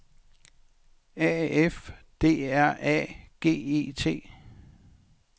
A F D R A G E T